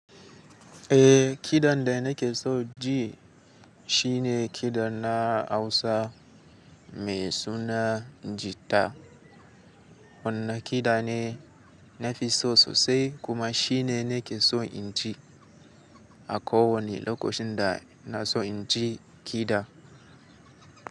Eh, kidan da nake so ji shine kidan na Hausa mai suna jita. Wannan kida ne nafi so sosai kuma shine nake so in ji a kowane lokacin da na so in ji kida.